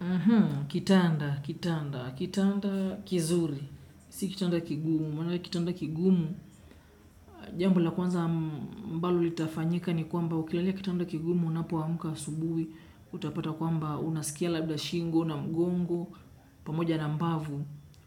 Aha, kitanda, kitanda, kitanda kizuri, si kitanda kigumu, maanake kitanda kigumu, jambo la kwanza ambalo litafanyika ni kwamba ukilalia kitanda kigumu unapoamka asubuhi, utapata kwamba unasikia labda shingo, na mgongo, pamoja na mbavu,